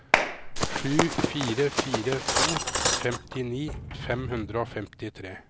sju fire fire to femtini fem hundre og femtitre